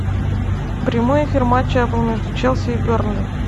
прямой эфир матча апл между челси и бернли